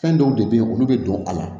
Fɛn dɔw de bɛ ye olu bɛ don a la